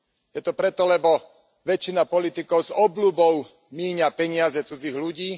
Je to preto, lebo väčšina politikov s obľubou míňa peniaze cudzích ľudí.